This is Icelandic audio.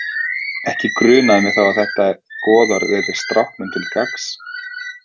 Ekki grunaði mig þá að þetta goðorð yrði stráknum til gagns.